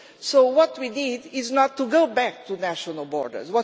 So what we need is not to go back to national borders.